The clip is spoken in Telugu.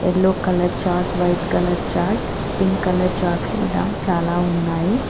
Yellow colour chart white colour chart pink colour చాట్లు ఇలా చాలా ఉన్నాయి.